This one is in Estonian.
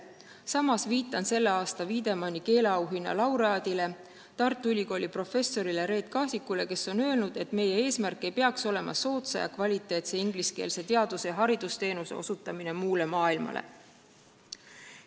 Samas viitan tänavusele Wiedemanni keeleauhinna laureaadile, Tartu Ülikooli professorile Reet Kasikule, kes on öelnud, et meie eesmärk ei peaks olema soodsa ja kvaliteetse ingliskeelse teadus- ja haridusteenuse osutamine muule maailmale.